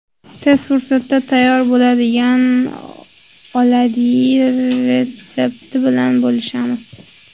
Tez fursatda tayyor bo‘ladigan oladyi retsepti bilan bo‘lishamiz.